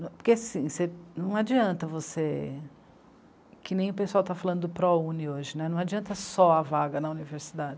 Porque assim, você, não adianta você, que nem o pessoal está falando do Prouni hoje, né, não adianta só a vaga na